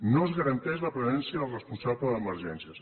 no es garanteix la presència dels responsables d’emergències